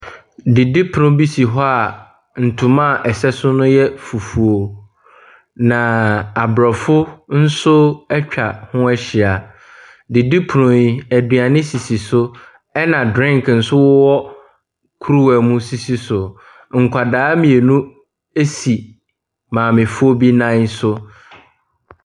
Didipono bi si hɔ a ntoma a ɛsɛ so no yɛ fufuo, na aborɔfo nso atwa ho ahyia. Didipono yi, aduane sisi so, ɛna drink nso wɔ kuruwa mu sisi so. Nkwadaa mmienu si maamefoɔ bi nan so.